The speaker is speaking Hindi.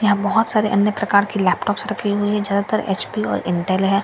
यहाँ बहोत सारे अन्य प्रकार के लेपटॉप रखें हुए हैं ज्यादातर एच_पी और इंटेल है।